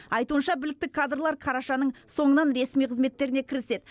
айтуынша білікті кадрлар қарашаның соңынан ресми қызметтеріне кіріседі